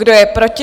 Kdo je proti?